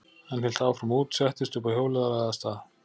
Hann hélt áfram út, settist uppá hjólið og lagði af stað.